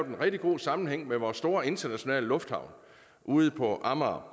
en rigtig god sammenhæng med vores store internationale lufthavn ude på amager